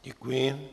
Děkuji.